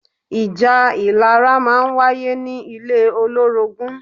Ìjà ìlara máa ń wáyé ní ilé olórogún